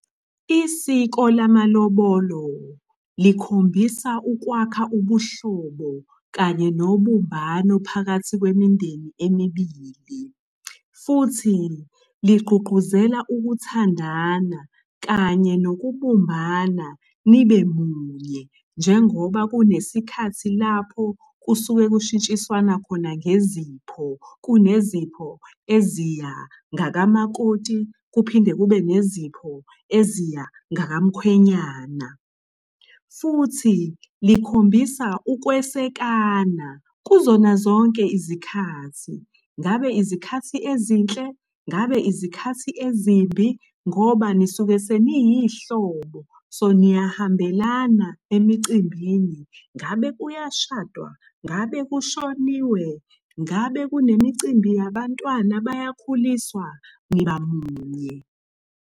Isiko lamalobolo likhombisa ukwakha ubuhlobo kanye nobumbano phakathi kwemindeni emibili, futhi ligqugquzela ukuthandana kanye nokubumbana nibe munye. Njengoba kunesikhathi lapho kusuke kushintshiswana khona ngezipho, kunezipho eziya ngakamakoti, kuphinde kube nezipho eziya ngaka mkhwenyana. Futhi likhombisa ukwesekana kuzona zonke izikhathi. Ngabe izikhathi ezinhle, ngabe izikhathi ezimbi, ngoba nisuke seniyihlobo. So niyahambelana emicimbini, ngabe kuyashadwa, ngabe kushoniwe, ngabe kunemicimbi yabantwana bayakhuliswa, niba munye.